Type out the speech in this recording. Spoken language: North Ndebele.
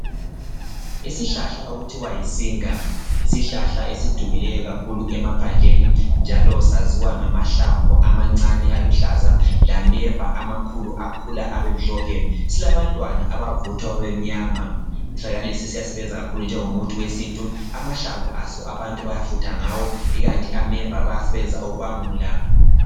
Isihlahla okuthiwa yisinga yisihlahla esidumileyo kakhulu emaphandleni njalo saziwa ngamahlamvu amancane aluhlaza lameva amakhulu akhula abemhlophe silabantwana abavuthwa babemnyama. Isihlahla lesi siyasebenza kakhulu njengomuthi wesintu amahlamvu aso abantu bayafutha ngawo ikanti ameva bawasebenzisa ukubangula.